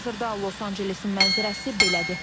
Hazırda Los Ancelesin mənzərəsi belədir.